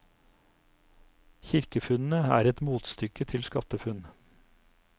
Kirkefunnene er et motstykke til skattefunn.